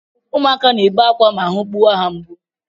Ụmụakwa na-ebe akwa ma ahụ gbuwa ha mgbu